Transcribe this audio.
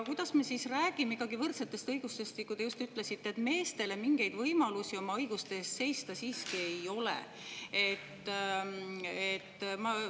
Kuidas me siis räägime ikkagi võrdsetest õigustest, kui te just ütlesite, et meestel mingeid võimalusi oma õiguste eest seista siiski ei ole?